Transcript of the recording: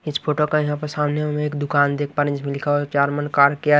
इस फोटो का यहां पर सामने हम एक दुकान देख पा रहे हैं इसमें लिखा हुआ है चारमन कां केअर --